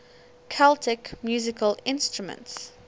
celtic musical instruments